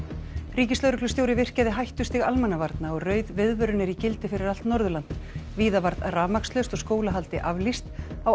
ríkislögreglustjóri virkjaði hættustig almannavarna og rauð viðvörun er í gildi fyrir allt Norðurland víða varð rafmagnslaust og skólahaldi aflýst á